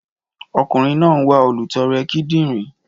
Ọkùnrin náà ń wá olùtọrẹ kidinrin